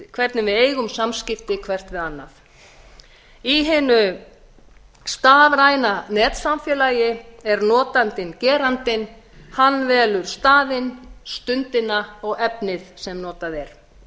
hvernig við eigum samskipti hvert við annað í hinu stafræna netsamfélagi er notandinn gerandinn hann velur staðinn stundina og efnið sem notað er